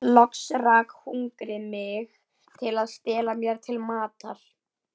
Loks rak hungrið mig til að stela mér til matar.